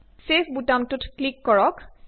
save বুতামটোত click কৰক